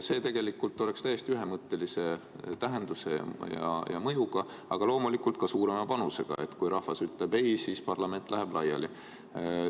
See oleks täiesti ühemõttelise tähenduse ja mõjuga, aga loomulikult ka suurema panusega, sest kui rahvas ütleb ei, siis parlament läheb laiali.